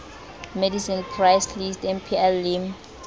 medicine price list mpl le